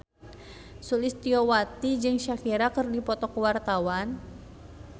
Sulistyowati jeung Shakira keur dipoto ku wartawan